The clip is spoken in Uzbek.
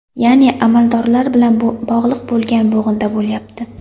Ya’ni amaldorlar bilan bog‘liq bo‘lgan bo‘g‘inda bo‘lyapti.